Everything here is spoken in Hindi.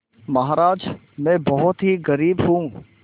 महाराज में बहुत ही गरीब हूँ